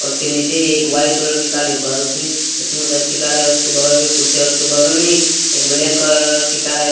उसके नीचे ही एक वाइट कलर की गाड़ी है। बहुत ही स्मूथ अच्छी कार है उसके बगल में कुर्सी है उसके बगल में ही एक ब्लैक कलर की कार हैं।